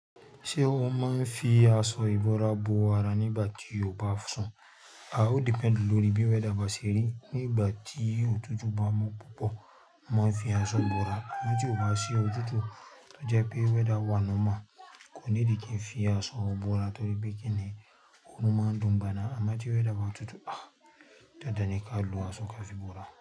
Ṣé ó máa ń fi aṣọ ìbora bò ara nígbà tí ó bá sùn? Ó depend lórí bí weather bá ṣeri. Nígbà tí òtútù bá mú púpọ̀, máa ń fi aṣọ bora. Àmọ́ tí ò bá sí òtútù, tọ́ je pé weather wà nọ́mọ̀, kò níidí kí n fi aṣọ bora torí pé kíni oòrùn máa dùn ìgbà na. Àmọ́ tí weather bá tutù, Dandan ní ká lu aṣọ ká fi bora.